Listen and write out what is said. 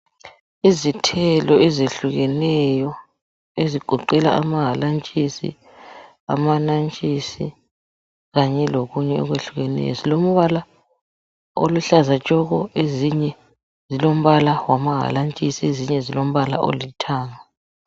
Izithelo ezehlukeneyo ezigoqela amahalantshisi, amanantshisi kanye lokunye okwehlukeneyo zilompala oluhlaza tshoko ezinye zilompala wamahalantshisi ezinye zilompala olithanga.